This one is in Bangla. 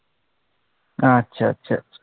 আচ্ছা আচ্ছা আচ্ছা